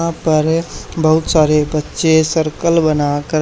यहां पर बहुत सारे बच्चे सर्कल बना कर--